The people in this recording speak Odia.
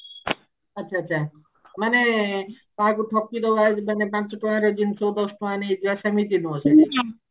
ଆଛା ଆଛା ମାନେ କାହାକୁ ଠକି ଦବା ମାନେ ପାଞ୍ଚ ଟଙ୍କାର ଜିନିଷକୁ ଦଶ ଟଙ୍କା ନେଇଯିବା ସେମିତି ନୁହଁ